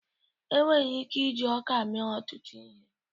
Enwere ike iji ọka mee ọtụtụ ihe.